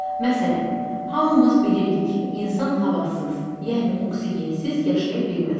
Məsələn, hamımız bilirik ki, insan havasız, yəni oksigensiz yaşaya bilməz.